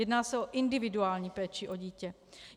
Jedná se o individuální péči o dítě.